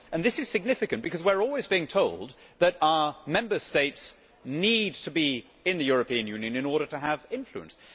This is significant because we are always being told that our Member States need to be in the European Union in order to have influence.